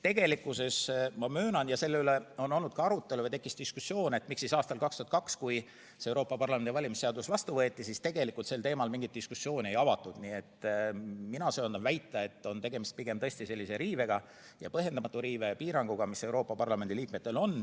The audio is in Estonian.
Tegelikkuses ma möönan – selle üle on olnud arutelu, miks 2002. aastal, kui Euroopa Parlamendi valimise seadus vastu võeti, tegelikult sel teemal mingit diskussiooni ei avatud –, ma söandan väita, et tegemist on pigem põhjendamatu piiranguga.